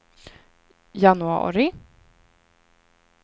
januari